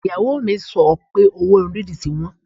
Ìyàwó mi sọ pé owó irun dídì ti wọ́n